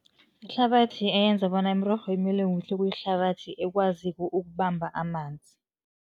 Ihlabathi eyenza bona imirorho imile kuhle kuyihlabathi ekwaziko ukubamba amanzi.